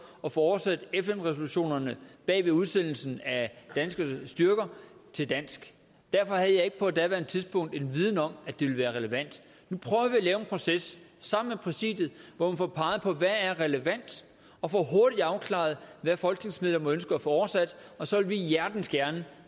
at få oversat fn resolutionerne bag ved udsendelsen af danske styrker til dansk derfor havde jeg ikke på daværende tidspunkt en viden om at det ville være relevant nu prøver vi at lave en proces sammen med præsidiet hvor vi får peget på hvad der er relevant og får hurtigt afklaret hvad folketingsmedlemmer må ønske at få oversat og så vil vi hjertens gerne